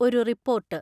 ഒരു റിപ്പോർട്ട്.